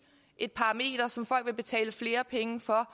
et parameter som folk vil betale flere penge for